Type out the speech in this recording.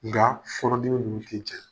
N ŋa fɔnɔnnenw nunun tɛ cɛ